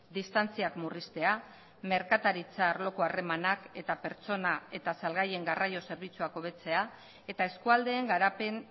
distantziak murriztea merkataritza arloko harremanak eta pertsona eta salgaien garraio zerbitzuak hobetzea eta eskualdeen garapen